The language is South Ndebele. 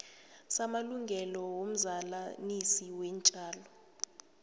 samalungelo womzalanisi weentjalo